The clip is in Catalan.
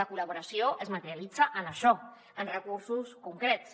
la col·laboració es materialitza en això en recursos concrets